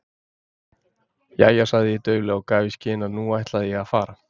Jæja sagði ég dauflega og gaf í skyn að nú ætlaði ég að fara.